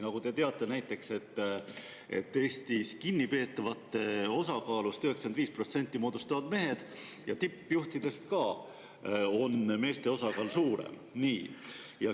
Nagu te teate, näiteks kinnipeetavatest moodustavad Eestis 95% mehed ja ka tippjuhtide seas on meeste osakaal suurem.